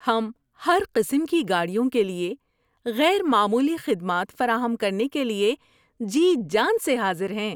ہم ہر قسم کی گاڑیوں کے لیے غیر معمولی خدمات فراہم کرنے کے لیے جی جان سے حاضر ہیں۔